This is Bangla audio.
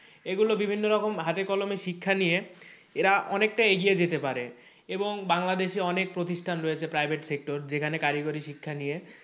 এগুলো বিভিন্ন রকম হাতেকলমে শিক্ষা নিয়ে এরা অনেকটা এগিয়ে যেতে পারে এবং বাংলাদেশে অনেক প্রতিষ্ঠান রয়েছে private sector যেখানে কারিগরি শিক্ষা নিয়ে,